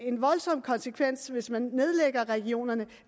en voldsom konsekvens hvis man nedlægger regionerne